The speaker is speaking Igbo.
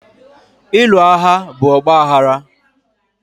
Ịlụ agha bụ ọgbaghara